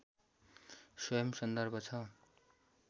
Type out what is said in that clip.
स्वयम् सन्दर्भ छ